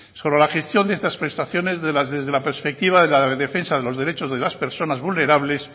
sobre la gestión de estas prestaciones desde la perspectiva de la defensa de los derechos de las personas vulnerables